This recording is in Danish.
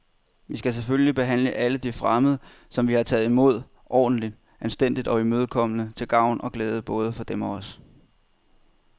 Vi skal selvfølgelig behandle alle de fremmede, som vi har taget imod, ordentligt, anstændigt og imødekommende til gavn og glæde både for dem og os.